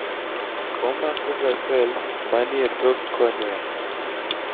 omakoga cells manie tok cornea